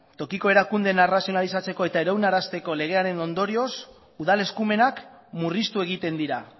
tokiko erakundeen arrazionalizatzeko eta iraunarazteko legearen ondorioz udal eskumenak murriztu egiten dira